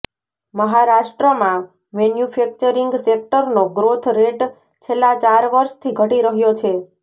મહારાષ્ટ્રમાં મેન્યુફેક્ચરિંગ સેક્ટરનો growth rate છેલ્લા ચાર વર્ષથી ઘટી રહ્યો છે